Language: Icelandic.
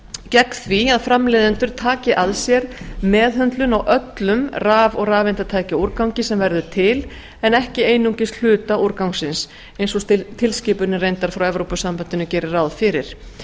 gegn því að framleiðendur taki að sér meðhöndlun á öllum raf og rafeindatækjaúrgangi sem verður til en ekki einungis hluta úrgangsins eins og tilskipunin reyndar frá evrópusambandinu gerir ráð fyrir